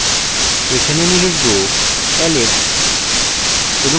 এখানে আমি লিখব alex